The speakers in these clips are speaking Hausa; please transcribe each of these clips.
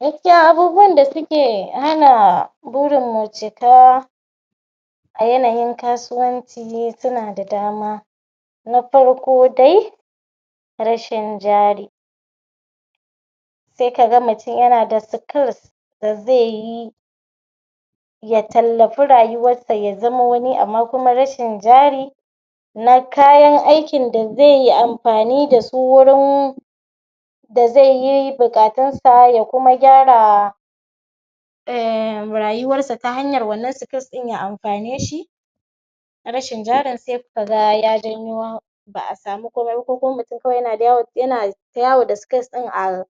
Gaskiya abubuwan da suke hana burin mu cika a yanayin kasuwanci suna da dama. Na farko dai rashin jari sai ka ga mutum yana da skills da zai yi ya tallafi ryuwarsa ya zama wani amma fa rashin jari na kayan aikin da zai yi amfani da su wurin da zai buatunsa ya kuma gyara in rayuwarsa ta hanyar wannan skills ɗin ya amfane shi rashin jarin zai ka ga ya janyo ba a samu komai ba. Ko kuma mutum yana yawo da skils ɗin a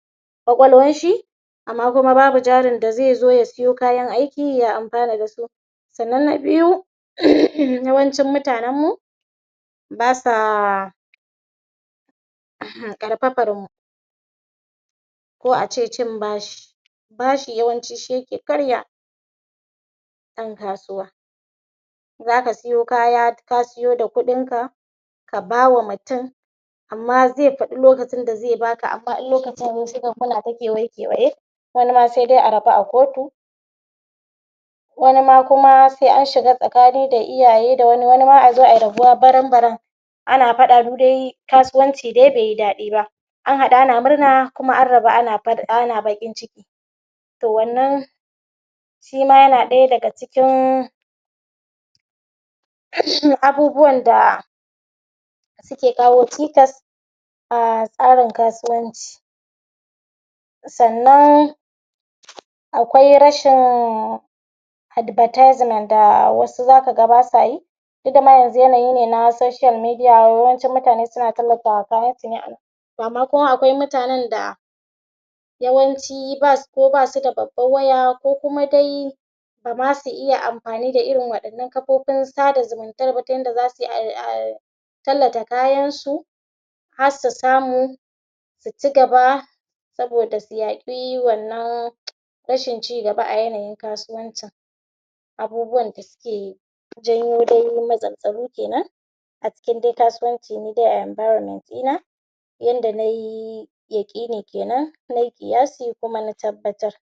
ƙwaƙwalwarshi amma kuma babu jarin da zai zo ya siyo kayan aiki ya amfana da su sannan na biyu yawancin mutanenmu ba sa ƙarfafar mu ko a ce cin bashi. bashi yawanci shi ke karya ɗan kasuwa za ka siyo kaya bayan ka siyo da kuɗinka ka ba wa mutum amma zai faɗi lokacin da zai ba ka. amma in lokacin ya yi sai kaga kewaye-kewaye, wani ma sai ku rabu a kotu. Wani ma kuma sai an shiga tsakani da iyaye, wani kuma a zo a rabu baram-baram Ana faɗa du dai kasuwanci dai bai yi daɗi ba an haɗu ana murna kuma an rabu ana ba ana baƙin ciki to wannan shi ma yana ɗaya daga cikin kan shi abubuwan da suke kawo cikas a tsarin kasuwanci sannan akwai rashin advertisement da wasu za ka ga ba sa yi ita ma yanzu wannan social media yawancin mutane suna tallata kayansu ne a nan maimakon akwai mutanen da yawanci ba su da babban waya ko kuma dai ba za su iya amfani da irin wa'innan kafofin sada zumumtar ba saboda ai ai tallata kayansu har su samu su ci gaba saboda yaƙi wannan rashin cigaba a yanayin kasuwancin abubuwanda suke dai janyo matsaltsalu ke nan a cikin dai kasuwanci ni dai a enviroment ɗina yanda na yi yaƙi ne nai ƙiyasi kuma na tabbatar.